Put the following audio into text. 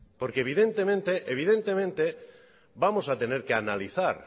porque evidentemente vamos a tener que analizar